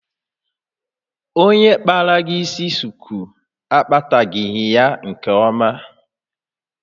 Onye kpara gị isi shuku agbatagị ya nke oma.